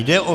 Jde o